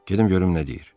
Gedim görüm nə deyir.